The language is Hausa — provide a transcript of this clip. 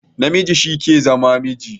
Namiji shi ke zama miji